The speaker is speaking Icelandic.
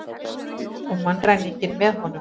Og mannræninginn með honum.